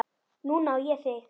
Núna á ég þig.